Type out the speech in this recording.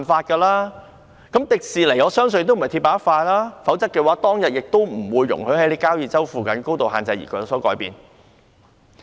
我相信迪士尼公司也不是鐵板一塊，否則當時亦不會容許改變交椅洲附近的高度限制。